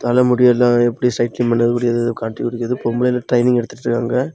தலை முடியெல்லா எப்படி ட்ரைனிங் பண்றது முடியெ கட்டிக்முடியுறது பொம்பளைங்க எல்லாம் ட்ரைனிங் எடுத்துட்டிருக்காங்க.